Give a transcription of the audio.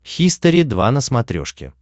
хистори два на смотрешке